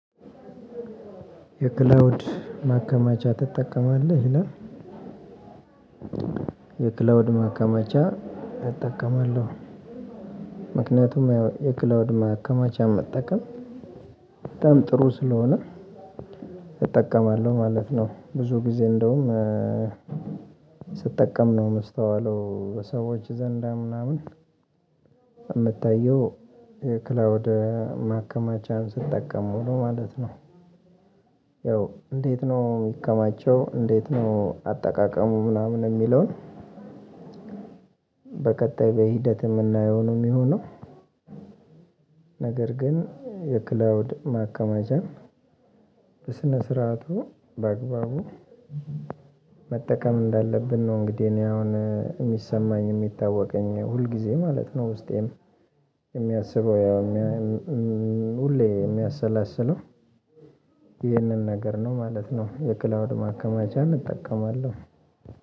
የክላውድ ማከማቻ ትጠቀማለህ ይላል? የክላውድ ማከማቻ እጠቀማለሁ ምክንያቱም የክላውድ ማከማቻ መጠቀም በጣም ጥሩ ስለሆነ እጠቀማለሁ ማለት ነው። ብዙ ጊዜ እንደውም ስጠቀም ነው የምስተዋለው በሰዎች ዘንዳ ምናምን አምታየው የክላውድ ማከማቻን ስጠቀም ሙሉ ማለት ነው። ያው እንዴት ነው የሚከማቸው እንዴት ነው አጠቃቀሙ ምናምን የሚለውን በቀጣይ በሂደት የምናየው ነው የሚሆነው። ነገር ግን የክላውድ ማከማቻ በስነ ስርዓቱ በአግባቡ መጠቀም እንዳለብን ነው። እንግዲህ እኔ አሁን የሚሰማኝ የሚታወቀኝ ሁል ጊዜ ማለት ነው ውስጤን የሚያስበው ያው ሁሌ የሚያሰላስለው ነገር ነው ማለት ነው። የክላውድ ማከማቻን እጠቀማለሁ